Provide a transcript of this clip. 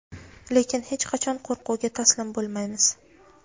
lekin hech qachon qo‘rquvga taslim bo‘lmaymiz.